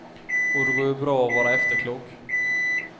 Och det går ju bra att vara efterklok.